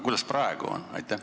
Kuidas praegu on?